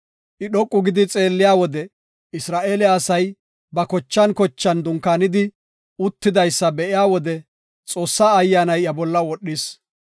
I dhoqu gidi xeelliya wode Isra7eele asay ba kochan kochan dunkaanidi uttidaysa be7iya wode Xoossaa Ayyaanay iya bolla wodhis.